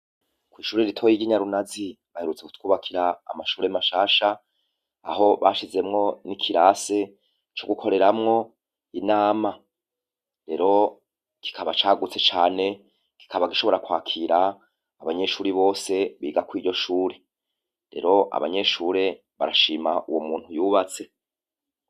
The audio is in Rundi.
Kw'ishure ritoya ry'i Nyarunazi, baherutse kutwubakira amashure mashasha, aho bashizemwo n'ikirasi co gukoreramwo inama. Rero, kikaba cagutse cane, kikaba gishobora kwakira abanyeshure bose biga kw'iryo shure. Rero abanyeshure barashima uwo muntu yubatse.